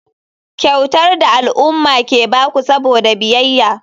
Kyautar da al'umma ke ba ku saboda biyayya.